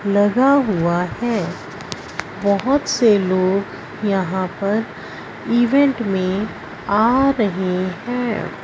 लगा हुआ है बहोत से लोग यहां पर इवेंट में आ रहे हैं।